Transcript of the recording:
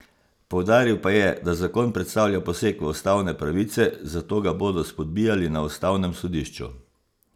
Poudaril pa je, da zakon predstavlja poseg v ustavne pravice, zato ga bodo spodbijali na ustavnem sodišču.